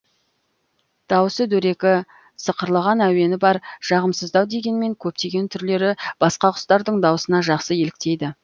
дауысы дөрекі сықырлаған әуені бар жағымсыздау дегенмен көптеген түрлері басқа құстардың дауысына жақсы еліктейді